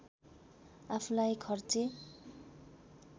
आफुलाई खर्चे